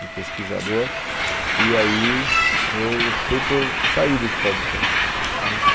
de pesquisador, e aí eu optei por sair do Hospital do Câncer.